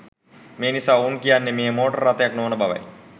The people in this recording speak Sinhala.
මෙනිසා ඔවුන් කියන්නේ මෙය මෝටර් රථයක් නොවන බවයි.